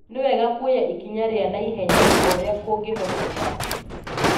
Nĩ wega kuoya ikinya rĩa na ihenya o ũrĩa kũngĩhoteka